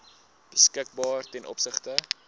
beskikbaar ten opsigte